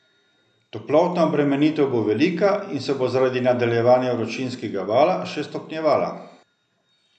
Toplotna obremenitev bo velika in se bo zaradi nadaljevanja vročinskega vala še stopnjevala.